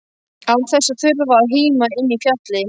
Án þess að þurfa að híma inni í fjalli.